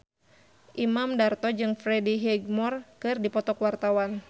Imam Darto jeung Freddie Highmore keur dipoto ku wartawan